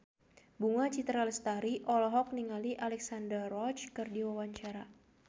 Bunga Citra Lestari olohok ningali Alexandra Roach keur diwawancara